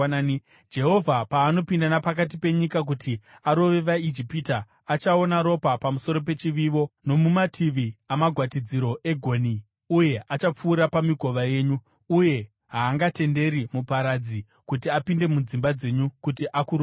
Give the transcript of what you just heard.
Jehovha paanopinda napakati penyika kuti arove vaIjipita, achaona ropa pamusoro pechivivo nomumativi amagwatidziro egonhi uye achapfuura pamikova yenyu, uye haangatenderi muparadzi kuti apinde mudzimba dzenyu kuti akurovei.